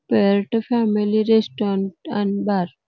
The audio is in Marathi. फॅमिली रेस्टोरेंट आणि बार --